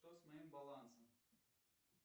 что с моим балансом